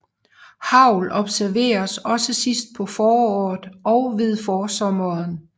Hagl observeres også sidst på foråret og ved forsommeren